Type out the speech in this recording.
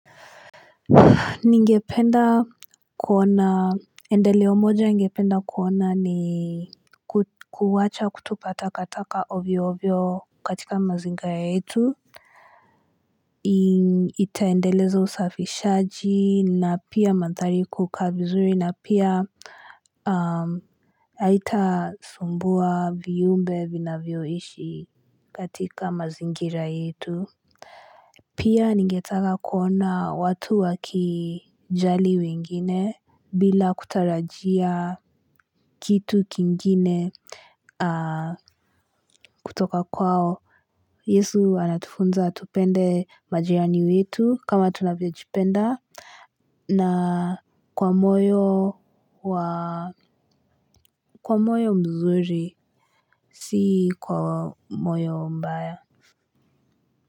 Ningependa kuona, endeleo moja ningependa kuona ni kuwacha kutupata kataka ovyo ovyo katika mazingara yetu. Itaendeleza usafishaji na pia mandari kukaa vizuri na pia haita sumbuwa viumbe vinavyoishi katika mazingira yetu. Pia ningetaka kuona watu wakijali wengine bila kutarajia kitu kingine kutoka kwao. Yesu anatufunza tupende majirani wetu kama tunavyo jipenda na kwa moyo kwa moyo mzuri, si kwa moyo mbaya.